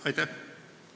Aitäh!